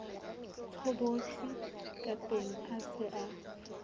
tshobotsi kateng a se a